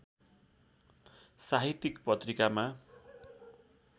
साहित्यिक पत्रिकामा